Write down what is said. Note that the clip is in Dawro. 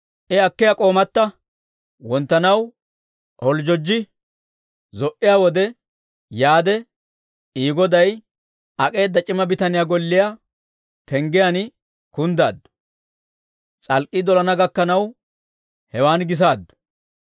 Sa'ay wonttanaw holjjojji zo"iyaa wode he mishiratta yaade, izi goday ak'eedda c'ima bitaniyaa golliyaa penggiyaan kunddaaddu; s'alk'k'ii dolana gakkanaw hewan gisaaddu.